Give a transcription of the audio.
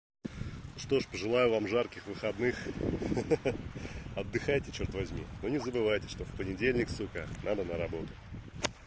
ну что же пожелаю вам жарких выходных хе-хе отдыхайте чёрт возьми но не забывайте что в понедельник сука надо на работу